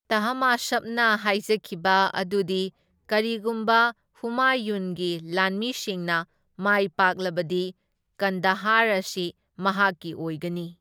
ꯇꯥꯍꯃꯥꯁꯞꯅ ꯍꯥꯏꯖꯈꯤꯕ ꯑꯗꯨꯗꯤ ꯀꯔꯤꯒꯨꯝꯕ ꯍꯨꯃꯥꯌꯨꯟꯒꯤ ꯂꯥꯟꯃꯤꯁꯤꯡꯅ ꯃꯥꯏꯄꯥꯛꯂꯕꯗꯤ ꯀꯟꯗꯍꯥꯔ ꯑꯁꯤ ꯃꯍꯥꯛꯀꯤ ꯑꯣꯏꯒꯅꯤ꯫